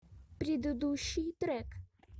предыдущий трек